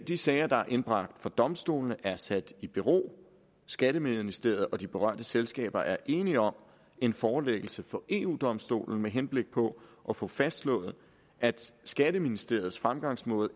de sager der er indbragt for domstolene er sat i bero skatteministeriet og de berørte selskaber er enige om en forelæggelse for eu domstolen med henblik på at få fastslået at skatteministeriets fremgangsmåde